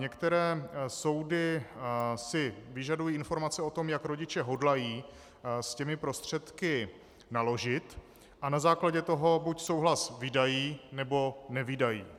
Některé soudy si vyžadují informace o tom, jak rodiče hodlají s těmi prostředky naložit, a na základě toho buď souhlas vydají, nebo nevydají.